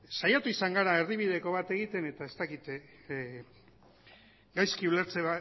saiatu izan gara erdibideko bat egiten eta ez dakit gaizki ulertze